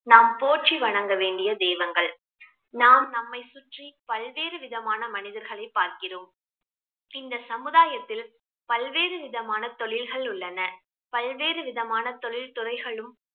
நாம் போற்றி வணங்க வேண்டிய தெய்வங்கள் நாம் நம்மை சுற்றி பல்வேறு விதமான மனிதர்களை பார்க்கிறோம் இந்த சமுதாயத்தில் பல்வேறு விதமான தொழில்கள் உள்ளன பல்வேறு விதமான தொழில் துறைகளும்